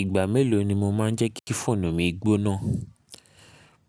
Ìgbà mélòó ni mo máa ń jẹ́ kí fóònù mi gbóná?